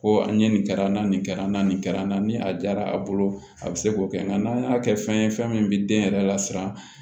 Ko an ye nin kɛra na nin kɛra na nin kɛra n na ni a jara a bolo a bɛ se k'o kɛ nka n'an y'a kɛ fɛn ye fɛn min bɛ den yɛrɛ lasiran